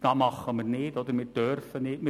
Das tun wir nicht oder dürfen wir nicht tun.